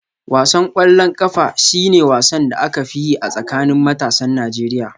Wasan ƙwallon ƙafa shi ne wasan da aka fi yi a tsakanin matasan Najeriya